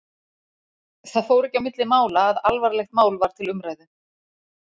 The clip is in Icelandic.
Það fór ekki á milli mála að alvarlegt mál var til umræðu.